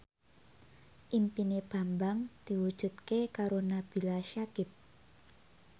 impine Bambang diwujudke karo Nabila Syakieb